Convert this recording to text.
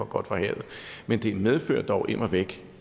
godt fra havet men det medfører dog immer væk